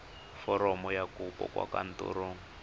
foromo ya kopo kwa kantorong